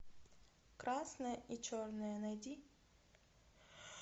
красное и черное найди